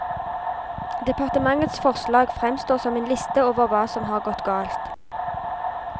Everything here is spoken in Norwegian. Departementets forslag fremstår som en liste over hva som har gått galt.